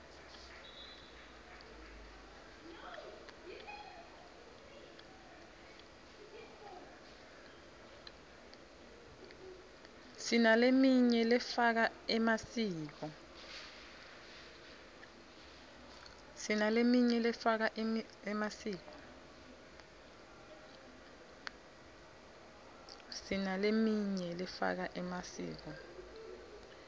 sinaleminy lefaka emasiko